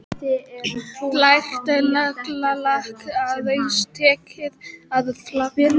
Glært naglalakk, aðeins tekið að flagna.